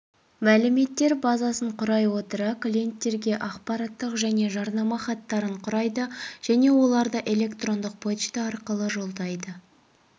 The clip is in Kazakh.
мәліметтер базасын құрай отыра клиенттерге ақпараттық және жарнама хаттарын құрайды және оларды электрондық пошта арқылы жолдайды